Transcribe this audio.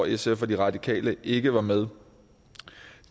sf og de radikale ikke var med